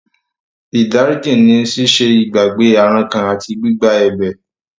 Ìdáríjì ní ṣíṣe ìgbàgbé àrankàn àti gbígba ẹ̀bẹ̀.